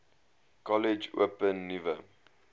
kollege open nuwe